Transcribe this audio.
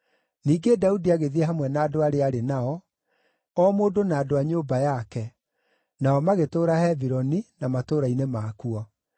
Ningĩ Daudi agĩthiĩ hamwe na andũ arĩa aarĩ nao, o mũndũ na andũ a nyũmba yake, nao magĩtũũra Hebironi, na matũũra-inĩ makuo.